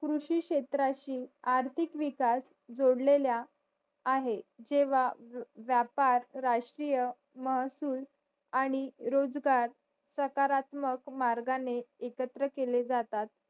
कृषिक्षेत्राशी आर्थिक विकास जोडलेल्या आहे जेव्हा व्यापार राष्ट्रीय महसूल आणि रोजगार प्रकारात्मक मार्गाने एकत्र केले जातात